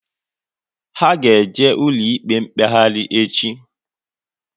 Ha ga eje ụlọ ikpe mkpeghari echi